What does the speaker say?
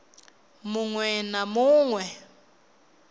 mu ṅwe na mu ṅwe